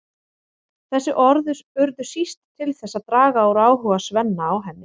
Þessi orð urðu síst til þess að draga úr áhuga Svenna á henni.